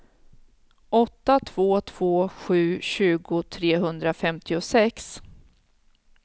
åtta två två sju tjugo trehundrafemtiosex